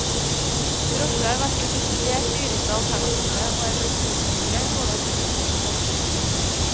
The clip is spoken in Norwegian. Drosje har vært det desidert dyreste alternativet og er blitt utkonkurrert både av flytog og buss.